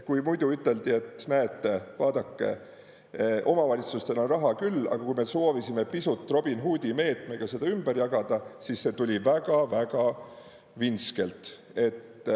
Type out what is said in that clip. Kui muidu üteldi, et näete, vaadake, omavalitsustel on raha küll, aga kui me soovisime pisut Robin Hoodi meetmega seda ümber jagada, siis see tuli väga-väga vintskelt.